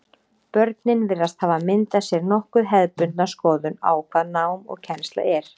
Börnin virðast hafa myndað sér nokkuð hefðbundna skoðun á hvað nám og kennsla er.